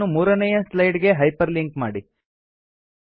ಇದನ್ನು ಮೂರನೇಯ ಸ್ಲೈಡ್ ಗೆ ಹೈಪರ್ ಲಿಂಕ್ ಮಾಡಿ